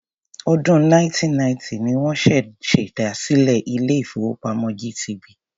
Ọdún 1990 ni wọ́n ṣèdásílẹl ilé-ìfowópamọ́ GTB.